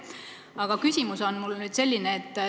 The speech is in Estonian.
Aga küsimus on mul selline.